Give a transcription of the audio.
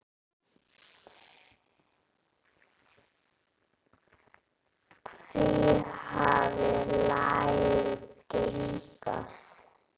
Hví hafði lagið geigað?